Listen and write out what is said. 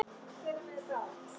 Allt lesefni var á þýsku.